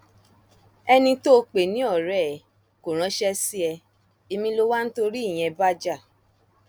ẹni tó o pè ní ọrẹ ẹ kò ránṣẹ sí ẹ ẹmí lo wá ń torí ìyẹn bá jà